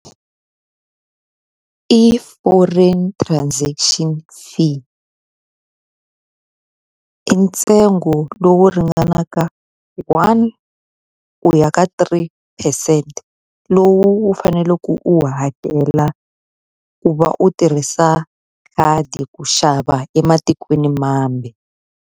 I foreign transaction fee. I ntsengo lowu ringanaka hi one u ya ka three percent, lowu u faneleke u wu hakela ku va u tirhisa khadi ku xava ematikweni mambe.